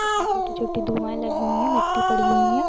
उसमे छोटी - छोटी धुआयें लगी हुई है मिट्टी पड़ीं हुई है।